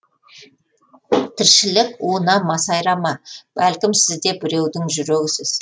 тіршілік уына масайрама бәлкім сіз де біреудің жүрегісіз